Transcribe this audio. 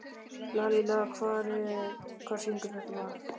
Lalíla, hver syngur þetta lag?